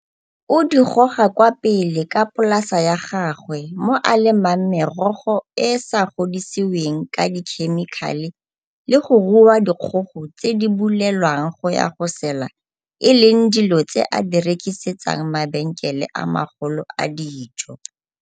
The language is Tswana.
o di goga kwa pele ka polasa ya gagwe mo a lemang merogo e e sa godisiweng ka dikhemikhale le go rua dikgogo tse di bulelwang go ya go sela e leng dilo tse a di rekisetsang mabenkele a magolo a dijo.